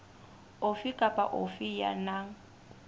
ofe kapa ofe ya nang